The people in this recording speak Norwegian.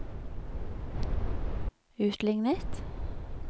utlignet